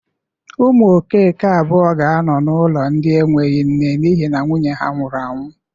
Ụmụ Okeke abụọ ga-anọ n'ụlọ ndị enweghi nne n'ihi na nwunye nwụrụ anwụ.